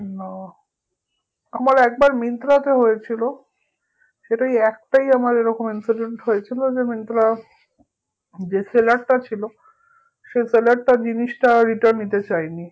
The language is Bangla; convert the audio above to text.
না আমার একবার মিন্ত্রা তে হয়েছিল সেটা এই একটাই আমার এরকম incident হয়েছিল যে মিন্ত্রা যে seller টা ছিল সেই seller টা জিনিসটা return নিতে চায়নি